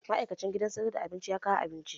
Ma'aikacin gidan sayar da abinci ya kawo abincin